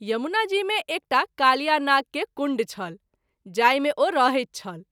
यमुना जी मे एकठाम कालिया नाग के कुण्ड छल जाहि मे ओ रहैत छल।